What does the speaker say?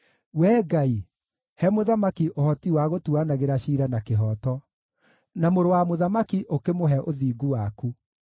Wee Ngai, he mũthamaki ũhoti wa gũtuuanagĩra ciira na kĩhooto, na mũrũ wa mũthamaki ũkĩmũhe ũthingu waku.